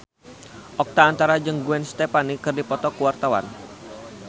Oka Antara jeung Gwen Stefani keur dipoto ku wartawan